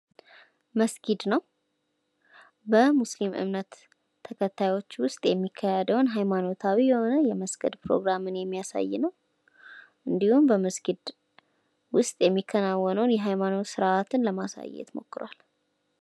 መስጊድ ነው ።በሙስሊም እምነት ተከታዮች ውስጥ የሚካሄደውን ሃይማኖታዊ የሆነ የመስገድ ፕሮግራምን የሚያሳይ ነው። እንዲሁም በመስጊድ ውስጥ የሚከናወነውን የሃይማኖት ስርዓትን ለማሳየት ሞክሯል።